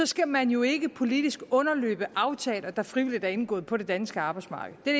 skal man jo ikke politisk underløbe aftaler der frivilligt er indgået på det danske arbejdsmarked det er